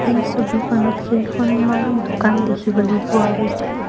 এই ছবিখনত কেইখনমান দোকান দেখিবলৈ পোৱা গৈছে।